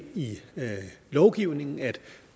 i lovgivningen at